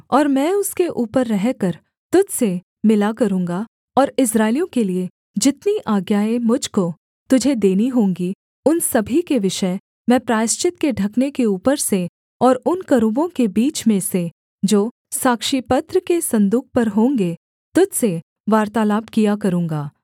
और मैं उसके ऊपर रहकर तुझ से मिला करूँगा और इस्राएलियों के लिये जितनी आज्ञाएँ मुझ को तुझे देनी होंगी उन सभी के विषय मैं प्रायश्चित के ढकने के ऊपर से और उन करूबों के बीच में से जो साक्षीपत्र के सन्दूक पर होंगे तुझ से वार्तालाप किया करूँगा